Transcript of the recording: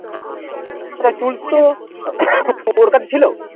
Tools তো ওর কাছে ছিল